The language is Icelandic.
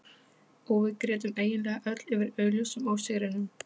Og við grétum eiginlega öll yfir augljósum ósigrinum.